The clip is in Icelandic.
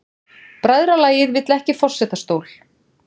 Bræðralagið vill ekki forsetastól